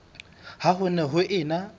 ha ho ne ho ena